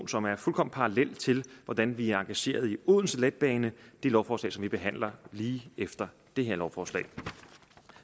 som er fuldkommen parallel til hvordan vi er engageret i odense letbane det lovforslag som vi behandler lige efter det her lovforslag